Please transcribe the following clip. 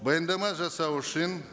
баяндама жасау үшін